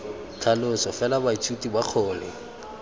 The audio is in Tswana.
tlhaloso fela baithuti ba kgone